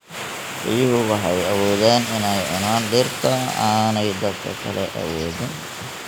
Riyuhu waxay awoodaan inay cunaan dhirta aanay dadka kale awoodin.